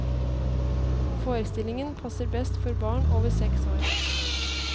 Forestillingen passer best for barn over seks år.